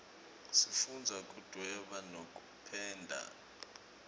sifundza kudvweba nekupenda